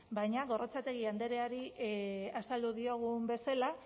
baina gorrotxategi andreari azaldu diogun bezala